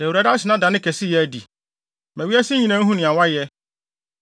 Da Awurade ase na da ne kɛseyɛ adi. Ma wiase nyinaa nhu nea wayɛ.